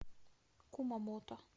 кумамото